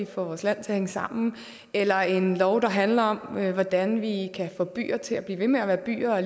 få vores land til at hænge sammen eller en lov der handler om hvordan vi kan få byer til at blive ved med at være byer og